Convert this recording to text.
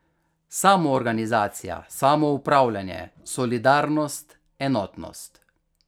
Samoorganizacija, samoupravljanje, solidarnost, enotnost.